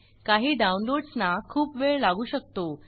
काही डाउनलोड्स ना खूप वेळ लागू शकतो